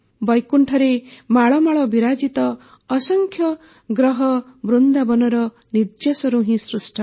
ବୈକୁଣ୍ଠରେ ମାଳମାଳ ବିରାଜିତ ଅସଂଖ୍ୟ ଗ୍ରହ ବୃନ୍ଦାବନର ନିର୍ଯ୍ୟାସରୁ ହିଁ ସୃଷ୍ଟ